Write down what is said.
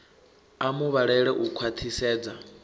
a mu vhalele u khwaṱhisedza